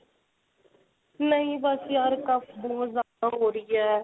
ਨਹੀਂ ਬੱਸ ਯਾਰ ਬਹੁਤ ਜਿਆਦਾ ਹੋ ਰਹੀ ਹੈ.